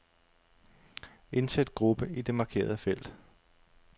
Indsæt gruppe i det markerede felt.